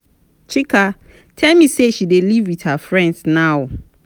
chika tell me say she dey live with her friend now